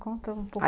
Conta um pouquinho.